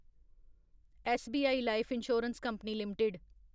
SBI life insurance company limited